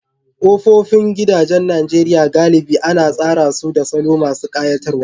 Kofofin gidajen Najeriya galibi ana tsara su da salo masu ƙayatarwa